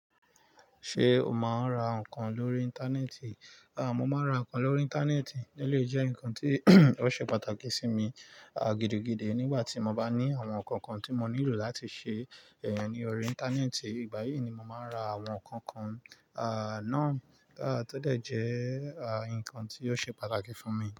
Ṣé o máa ń ra nǹkan lórí Íńtánẹ́ẹ̀tì? Mo máa ń ra nǹkan lórí Íńtánẹ́ẹ̀tì. Ó lè jẹ́ nǹkan tí ó ṣe pàtàkì sí mi, a gidi-gidi nígbà tí mo bá ní àwọn nǹkan kan tí mo nílò láti ṣe, ẹyàn ní orí Íńtánẹ́ẹ̀tì. Ìgbà yìí ni mo máa ń ra àwọn nǹkan kan, náà todẹ́ jẹ́, nǹkan tí yóò ṣe pàtàkì fún mi.